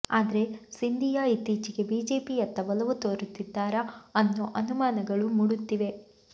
ಆದ್ರೆ ಸಿಂಧಿಯಾ ಇತ್ತೀಚೆಗೆ ಬಿಜೆಪಿಯತ್ತ ಒಲವು ತೋರುತ್ತಿದ್ದಾರಾ ಅನ್ನೋ ಅನುಮಾನಗಳು ಮೂಡುತ್ತಿವೆ